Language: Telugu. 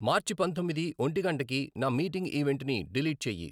మార్చి పంతొమ్మిది ఒంటి గంటకి నా మీటింగ్ ఈవెంట్ని డిలీట్ చెయ్యి.